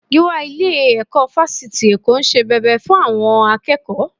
Gíwá ilé-ẹ̀kọ́ Fásitì Èkó ń ṣe bẹbẹ fún àwọn akẹ́kọ̀ọ́